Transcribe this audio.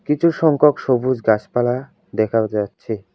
কিছু সংখ্যক সবুজ গাছপালা দেখাও যাচ্ছে।